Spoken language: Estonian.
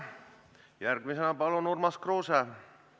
Järgmisena palun Urmas Kruuse!